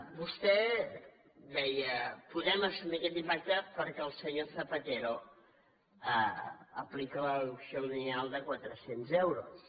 vostè deia podem assumir aquest impacte perquè el senyor zapatero aplica la deducció lineal de quatrecents euros